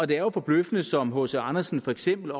det er jo forbløffende som hc andersen for eksempel